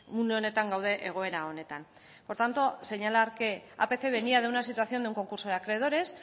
une honetan gaude egoera honetan por tanto señalar que apc venía de una situación de un concurso de acreedores